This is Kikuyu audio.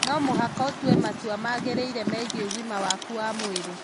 No mũhaka ũtue matua magĩrĩire megiĩ ũgima waku wa mwĩrĩ.